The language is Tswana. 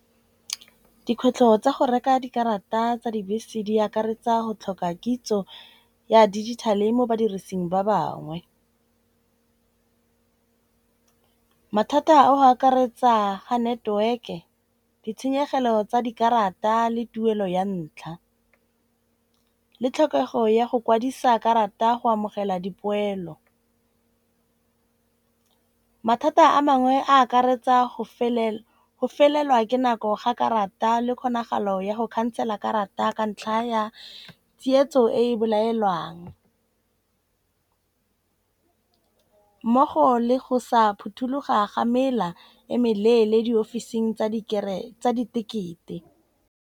Dikgwetlho tsa go reka dikarata tsa dibese di akaretsa go tlhoka kitso ya digital-e mo badirising ba bangwe. Mathata a go akaretsa ha network-e, ditshenyegelo tsa dikarata le tuelo ya ntlha le tlhokego ya go kwadisa karata go amogela dipoelo. Mathata a mangwe a akaretsa go felelwa ke nako ga karata le kgonagalo ya go khansela karata ka ntlha ya tsietso e bolaelwang mmogo le go sa phuthuloga ga mela e meleele diofising tsa ditekete.